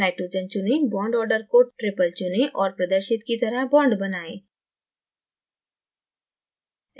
nitrogen चुनें bond order को triple चुनें और प्रदर्शित की तरह bond बनाएं